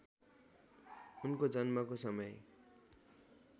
उनको जन्मको समय